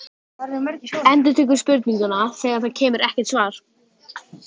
Endurtekur spurninguna þegar það kemur ekkert svar.